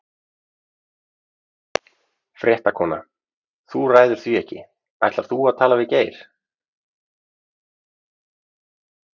Fréttakona: Þú ræður því ekki, ætlar þú að tala við Geir?